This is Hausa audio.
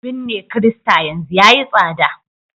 binne kirista yanzu yayi tsada